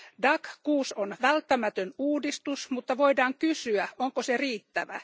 DAC6 on välttämätön uudistus, mutta voidaan kysyä, onko se riittävä.